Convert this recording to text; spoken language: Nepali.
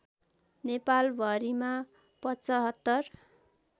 नेपाल भरिमा पचहत्तर